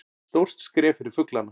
Stórt skref fyrir fuglana